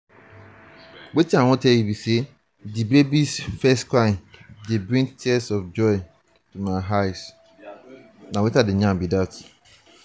di baby's first cry dey bring tears of joy to my eyes.